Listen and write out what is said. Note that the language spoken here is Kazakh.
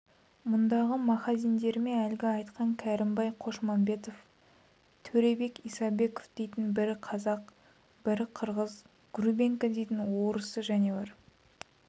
мұндағы маһазиндеріме әлгі айтқан кәрімбай қошмамбетов төребек исабеков дейтін бірі қазақ бірі қырғыз гурбенко дейтін орысы және бар